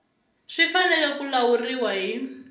swi fanele ku lawuriwa hi